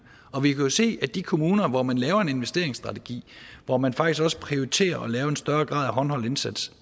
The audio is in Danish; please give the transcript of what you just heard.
og vi kan jo se at i de kommuner hvor man laver en investeringsstrategi hvor man faktisk også prioriterer at lave en større grad af håndholdt indsats